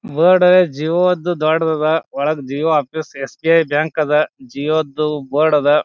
Board Jio ದು ದೊಡ್ಡದು ಅದ ಒಳಗ Jio office S B I bank ಅದ ಜಿಯೋದು ಬೋರ್ಡ್ ಅದ.